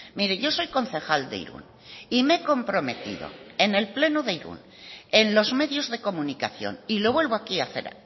mire yo soy concejal de irún y me he comprometido en el pleno de irún en los medios de comunicación y lo vuelvo aquí a hacer